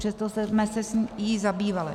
Přesto jsme se jí zabývali.